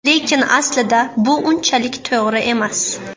Lekin aslida bu unchalik to‘g‘ri emas.